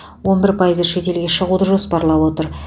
он бір пайызы шетелге шығуды жоспарлап отыр